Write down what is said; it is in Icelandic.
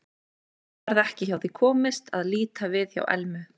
En nú varð ekki hjá því komist að líta við hjá Elmu.